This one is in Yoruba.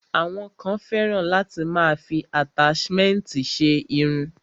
Àwọn kan fẹ́ràn láti máa fi àtáṣmẹ̀ntì ṣe irun.